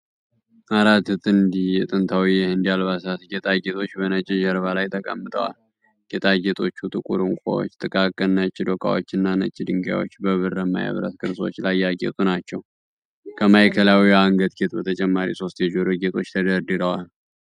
አራት ጥንድ የጥንታዊ የህንድ አልባሳት ጌጣጌጦች በነጭ ጀርባ ላይ ተቀምጠዋል። ጌጣጌጦቹ ጥቁር ዕንቁዎች፣ ጥቃቅን ነጭ ዶቃዎችና ነጭ ድንጋዮች በብርማ የብረት ቅርጾች ላይ ያጌጡ ናቸው። ከማዕከላዊው የአንገት ጌጥ በተጨማሪ ሦስት የጆሮ ጌጦች ተደርድረዋል።